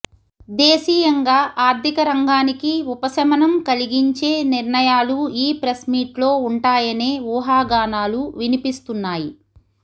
దేశీయంగా ఆర్థిక రంగానికి ఉపశమనం కలిగించే నిర్ణయాలు ఈ ప్రెస్మీట్లో ఉంటాయనే ఊహాగానాలు వినిపిస్తున్నాయి